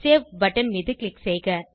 save button மீது click செய்க